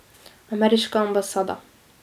Ameriška ambasada.